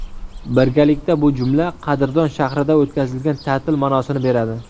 Birgalikda bu jumla qadrdon shahrida o‘tkazilgan ta’til ma’nosini beradi.